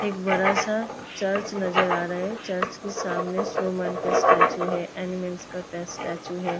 एक बड़ा सा चर्च नजर आ रहा है। चर्च के सामने स्नौमैंन का स्टेचू है। एनिमल्स का टेस--स्टेचू है।